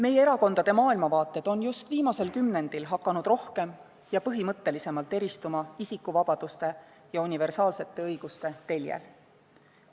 Meie erakondade maailmavaated on just viimasel kümnendil hakanud üha rohkem ja põhimõttelisemalt eristuma isikuvabaduste ja universaalsete õiguste teljel.